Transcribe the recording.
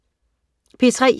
P3: